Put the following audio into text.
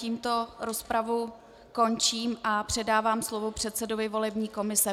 Tímto rozpravu končím a předávám slovo předsedovi volební komise.